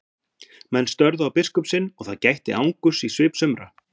Menn störðu á biskup sinn og það gætti angurs í svip sumra.